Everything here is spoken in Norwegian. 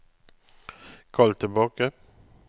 kall tilbake